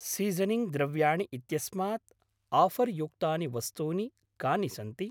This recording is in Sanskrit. सीसनिङ्ग् द्रव्याणि इत्यस्मात् आफर्युक्तानि वस्तूनि कानि सन्ति?